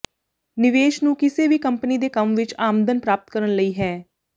ਨਿਵੇਸ਼ ਨੂੰ ਕਿਸੇ ਵੀ ਕੰਪਨੀ ਦੇ ਕੰਮ ਵਿਚ ਆਮਦਨ ਪ੍ਰਾਪਤ ਕਰਨ ਲਈ ਹੈ